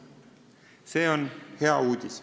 See on hea uudis.